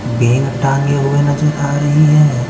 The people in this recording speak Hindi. बैंग टांगे हुए नजर आ रही हैं।